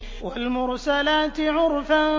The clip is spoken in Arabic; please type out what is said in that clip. وَالْمُرْسَلَاتِ عُرْفًا